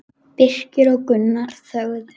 Birkir og Gunnar þögðu.